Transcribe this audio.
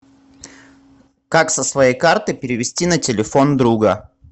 как со своей карты перевести на телефон друга